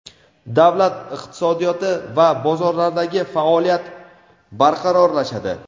davlat iqtisodiyoti va bozorlardagi faoliyat barqarorlashadi.